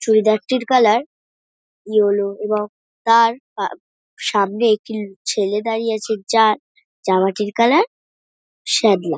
চুড়িদারটির colour yellow এবং তার পাব সামনে একটি-ল ছেলে দাঁড়িয়ে আছে যার জামাটির কালার শ্যামলা।